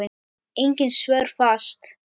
Engin svör fást.